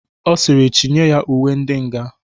Ọ sịrị "chi nye ya uwe ndi nga